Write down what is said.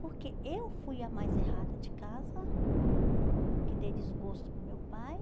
Porque eu fui a mais errada de casa, porque dei desgosto para o meu pai.